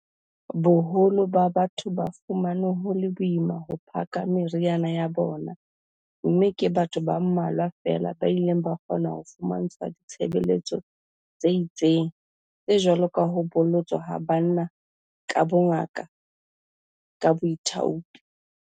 Boholo ba batho ba fumane ho le boima ho phaka meriana ya bona mme ke batho ba mmalwa feela ba ileng ba kgona ho fumantshwa ditshebeletso tse itseng, tse jwalo ka ho bolotswa ha banna ka bongaka ka boithaupi.